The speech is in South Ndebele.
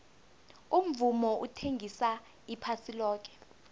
umvumo uthengisa iphasi loke